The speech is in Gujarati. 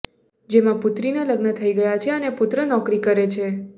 જેમાં પુત્રીના લગ્ન થઈ ગયા છે અને પુત્ર નોકરી કરે છે